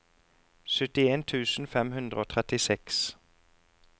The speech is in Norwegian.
syttien tusen fem hundre og trettiseks